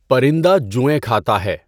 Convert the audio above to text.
پَرندہ جوئیں کھاتا ہے۔